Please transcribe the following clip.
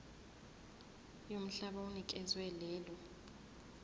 yomhlaba onikezwe lelo